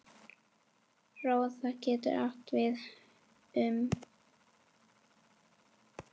Róða getur átt við um